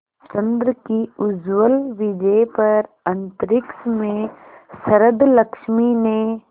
चंद्र की उज्ज्वल विजय पर अंतरिक्ष में शरदलक्ष्मी ने